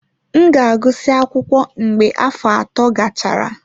M ga-agụsị akwụkwọ mgbe afọ ato gachara.